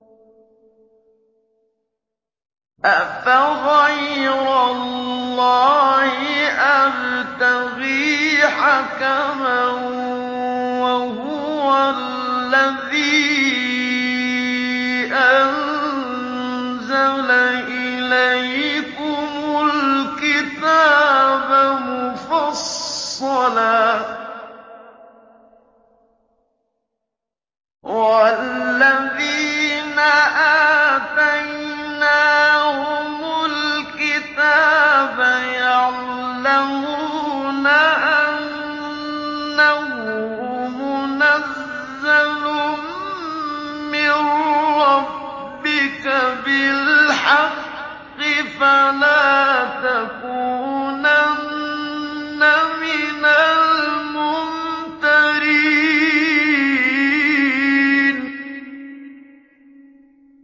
أَفَغَيْرَ اللَّهِ أَبْتَغِي حَكَمًا وَهُوَ الَّذِي أَنزَلَ إِلَيْكُمُ الْكِتَابَ مُفَصَّلًا ۚ وَالَّذِينَ آتَيْنَاهُمُ الْكِتَابَ يَعْلَمُونَ أَنَّهُ مُنَزَّلٌ مِّن رَّبِّكَ بِالْحَقِّ ۖ فَلَا تَكُونَنَّ مِنَ الْمُمْتَرِينَ